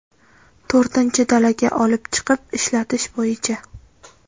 To‘rtinchi dalaga olib chiqib ishlatish bo‘yicha.